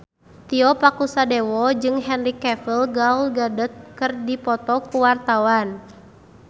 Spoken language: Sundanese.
Tio Pakusadewo jeung Henry Cavill Gal Gadot keur dipoto ku wartawan